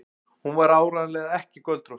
Hún var áreiðanlega ekki göldrótt.